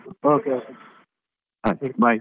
Okay, okay ಹಾ ಸಿಗ್ವ .